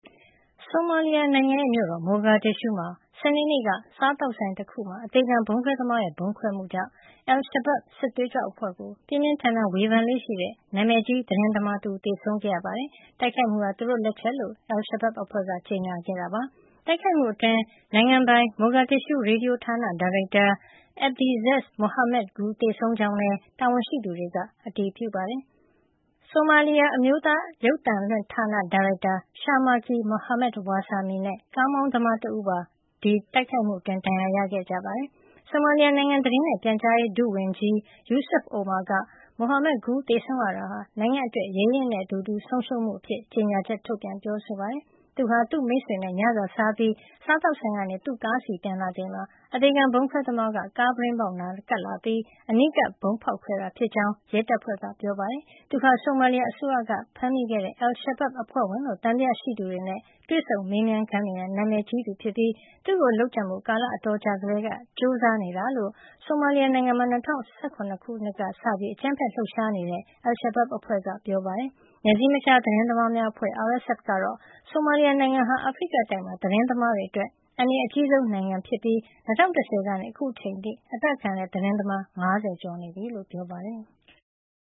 ဆိုမာလီယာနိုင်ငံ မြို့တော် Mogadishu မှာ စနေနေ့က စားသောက်ဆိုင်တခုအတွင်း အသေခံဗုံးခွဲသမားရဲ့ ဖောက်ခွဲမှုကြောင့် Al-Shabaab စစ်သွေးကြွအဖွဲ့ကို ပြင်းပြင်းထန်ထန် ဝေဖန်လေ့ရှိတဲ့ နာမည်ကြီး သတင်းသမားတဦး သေဆုံးခဲ့ရပါတယ်။ တိုက်ခိုက်မှုဟာ သူတို့လက်ချက်ဖြစ်ကြောင်း Al-Shabaab အဖွဲ့က ကြေညာခဲ့တာပါ။ တိုက်ခိုက်မှုအတွင်း နိုင်ငံပိုင် Mogadishu ရေဒီယိုဌာန ဒါရိုက်တာ Abdiaziz Mohamud Guled သေဆုံးကြောင်းလည်း တာဝန်ရှိသူတွေက အတည်ပြုပါတယ်။ ဆိုမာလီယာ အမျိုးသားရုပ်သံလွှင့်ဌာန ဒါရိုက်တာ Sharmarke Mohamed Warsame နဲ့ ကားမောင်းသမားတဦးပါ ဒဏ်ရာရခဲ့ကြပါတယ်။ ဆိုမာလီယာနိုင်ငံ သတင်းနဲ့ပြန်ကြားရေး ဒုဝန်ကြီး Abdirahman Yusuf Omar က Mohamud Guled သေဆုံးရတာဟာ နိုင်ငံအတွက် ရဲရင့်တဲ့သူတဦး ဆုံးရှုံးမှုအဖြစ် ကြေညာချက်ထုတ်ပြန် ပြောဆိုပါတယ်။ သူဟာ သူ့မိတ်ဆွေနဲ့ ညစာစားပြီး စားသောက်ဆိုင်ကနေ သူ့ကားဆီ ပြန်လာချိန်မှာ အသေခံဗုံးခွဲသမားက ကားပြတင်းပေါက်နား ကပ်လာပြီး အနီးကပ် ဗုံးဖောက်ခွဲခဲ့တာ ဖြစ်ကြောင်းလည်း ရဲတပ်ဖွဲ့ ပြောခွင့်ရသူက ပြောဆိုခဲ့တာပါ။ သူဟာ ဆိုမာလီယာအစိုးရက ဖမ်းမိတဲ့ Al-Shabaab အဖွဲ့ဝင်လို့ သံသယရှိသူတွေနဲ့ တွေ့ဆုံမေးမြန်းခန်းတွေနဲ့ နာမည်ကြီးသူဖြစ်ပြီး သူ့ကိုလုပ်ကြံဖို့ ကာလအတော်ကြာကတည်းက ကြိုးစားနေတာလို့ ဆိုမာလီယာနိုင်ငံမှာ ၂၀၀၇ ခုနှစ်ကပြီး အကြမ်းဖက်လှုပ်ရှားနေတဲ့ Al-Shabaab အဖွဲ့က ပြောပါတယ်။ နယ်စည်းမခြား သတင်းသမားများအဖွဲ့ (RSF) ကတော့ ဆိုမာလီယာနိုင်ငံဟာ အာဖရိကတိုက်မှာ သတင်းသမားတွေအတွက် အန္တရာယ်အကြီးဆုံး နိုင်ငံတနိုင်ငံ ဖြစ်နေပြီး ၂၀၁၀ ကနေ အခုအချိန်အထိ အသတ်ခံရတဲ့ သတင်းသမား ၅၀ ကျော်နေပြီလို့ ပြောပါတယ်။